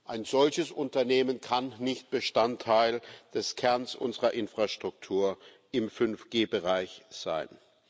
Ein solches Unternehmen kann nicht Bestandteil des Kerns unserer Infrastruktur im 5G Bereich sein.